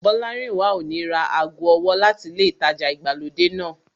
Bọ́lárìnwá ò ní ra ago ọwọ́ láti ilé ìtajà ìgbàlódé náà